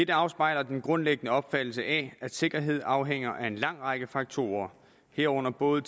der afspejler den grundlæggende opfattelse af at sikkerhed afhænger af en lang række faktorer herunder både